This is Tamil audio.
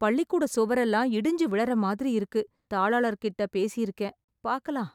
பள்ளிக்கூட சுவரெல்லாம் இடிஞ்சு விழற மாதிரி இருக்கு. தாளாளர்கிட்ட பேசியிருக்கேன். பாக்கலாம்.